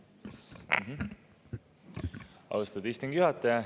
Austatud istungi juhataja!